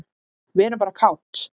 Við erum bara kát.